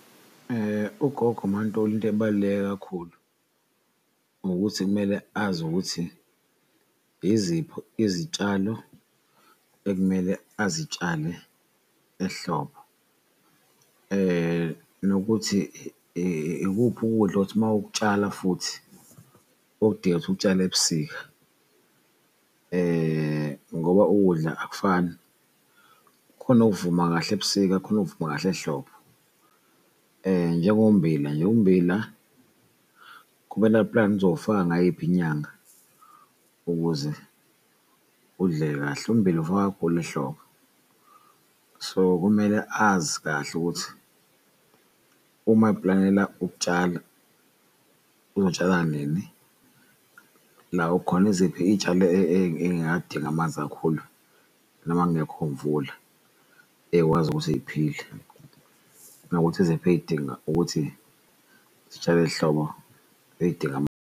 Ugogo uMaNtuli into ebaluleke kakhulu ukuthi kumele azi ukuthi iziphi izitshalo ekumele azitshale ehlobo. Nokuthi ikuphi ukudla othi mawukutshala futhi okudingeka ukuthi ukutshale ebusika, ngoba ukudla akufani. Khona okuvuma kahle ebusika kukhona okuvuma kahle ehlobo njengo mmbila nje, ummbila kumele aplane uzowufaka ngayiphi inyanga ukuze udle kahle. Ummbila ufakwa kakhulu ehlobo, so kumele azi kahle ukuthi uma eplanela ukutshala uzotshala nini, la khona iziphi iyitshalo ey'ngadingi amanzi kakhulu noma kungekho imvula eyikwazi ukuthi yiphile. Nokuthi iziphi eyidinga ukuthi sitshale hlobo eyidinga .